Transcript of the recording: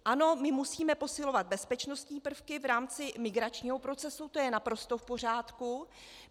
Ano, my musíme posilovat bezpečnostní prvky v rámci migračního procesu, to je naprosto v pořádku.